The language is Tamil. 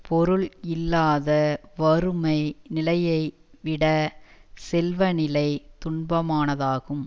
பொருள் இல்லாத வறுமை நிலையைவிடச் செல்வ நிலை துன்பமானதாகும்